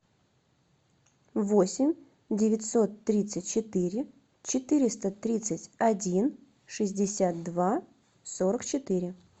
восемь девятьсот тридцать четыре четыреста тридцать один шестьдесят два сорок четыре